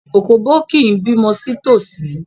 Òkóbó kì í bímọ sí tòsí.